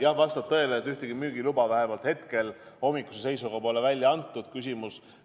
Jah, vastab tõele, et vähemalt hetkel, hommikuse seisuga pole ühtegi müügiluba välja antud.